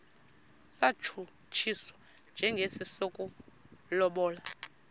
satshutshiswa njengesi sokulobola